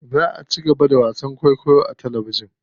Za a cigaba da wasan kwaikwayo a talabijin.